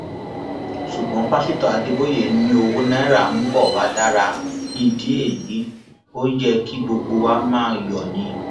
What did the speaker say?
ṣùgbọn pásítọ adébòye ni owó náírà ń bọ wàá dára nídìí èyí ó yẹ kí gbogbo wa máa yọ ni